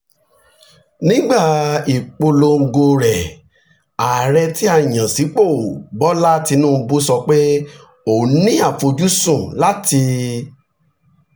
nígbà ìpolongo rẹ̀ ààrẹ tí a yàn sípò bola tinubu sọ pé òun ní àfojúsùn láti